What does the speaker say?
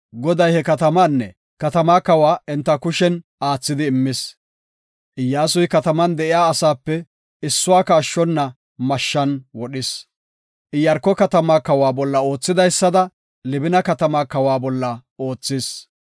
Goday he katamaanne katamaa kawa enta kushen aathidi immis. Iyyasuy kataman de7iya asaape issuwaka ashshona mashshan wodhis. Iyaarko katamaa kawa bolla oothidaysada Libina katamaa kawa bolla oothis.